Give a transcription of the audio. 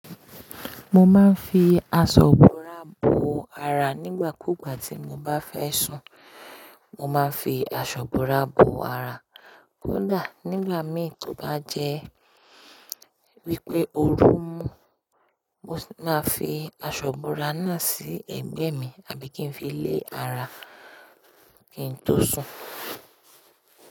Mo máa ń fi aṣọ bórá bò ara nígbà kúgbà tí mo bá fẹ́ sùn. Mo máa ń fi aṣọ búrá bò ara. Kódà nígbà mì tó bá jẹ́ wípé òru mú, mo máà fi aṣọ búrá náà sí ẹ̀gbẹ́ mi àbí kí n fi lé ara kí n tó sùn.